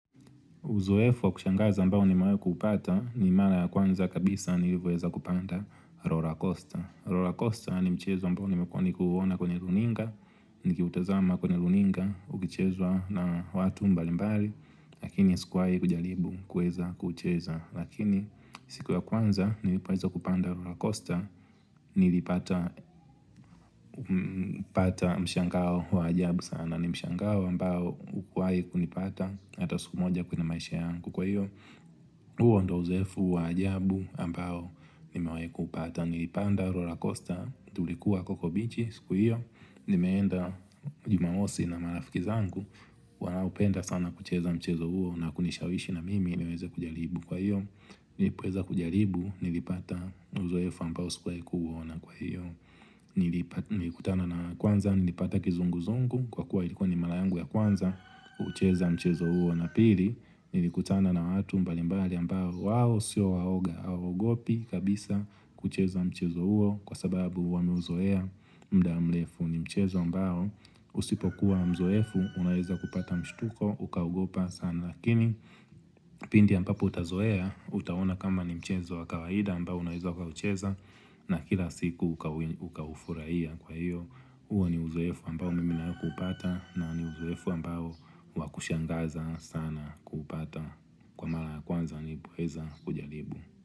Uzoefu wa kushangaza ambao nimewai kupata ni mara ya kwanza kabisa nilivyoweza kupanda Rora Costa. Rora Costa ni mchezo ambao nimekuwa nikiuona kwenyeruninga. Nikiutazama kwenye runinga ukichezwa na watu mbali mbali lakini sikuwai kujaribu kuweza kucheza. Lakini siku ya kwanza nilipoweza kupanda Rora Costa nilipata mshangao wa ajabu sana. Nimshangao ambao ukuwai kunipata Hata siku moja kwenye maisha yangu Kwa hiyo, huo ndo uzoefu wa ajabu ambao nimewai kupata Nilipanda roller coaster tulikuwa coco beach siku hiyo, nimeenda jumamosi na marafiki zangu wanaopenda sana kucheza mchezo huo na kunishawishi na mimi ili niweze kujaribu kwa hiyo Nilipo weza kujaribu, nilipata uzoefu ambao sikuwai kuuona kwa hiyo Nilikutana na, kwanza nilipata kizungu zungu kwa kuwa ilikuwa ni marayangu ya kwanza kuucheza mchezo huo na pili nilikutana na watu mbalimbali ambao wao siyo waoga hawaogopi kabisa kucheza mchezo huo kwa sababu wameuzoea muda mrefu ni mchezo ambao usipokuwa mzoefu unaweza kupata mshituko ukaugopa sana lakini pindi ambapo utazoea utaona kama ni mchezo wakawaida ambao unaweza ukaucheza na kila siku uka hufurahia kwa iyo huo ni uzoefu ambao mimi nimewahi kupata na ni uzoefu ambao wakushangaza sana kupata kwa mara ya kwanza nilipoweza kujaribu.